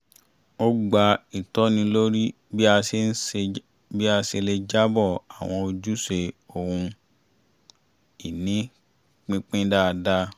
a gba ìtọ́ni lórí bí a ṣe lè jábọ̀ àwọn ojúṣe ohun-ìní pínpín dáadáa